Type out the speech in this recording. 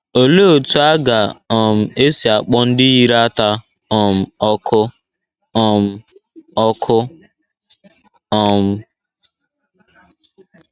Olee otú a ga - um esi akpọ ndị yiri ata um ọkụ? um ọkụ? um